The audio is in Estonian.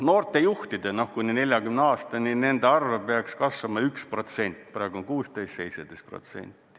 Noorte juhtide, kuni 40-aastaste arv peaks kasvama 1%, praegu on 16%, siis kuni 17%.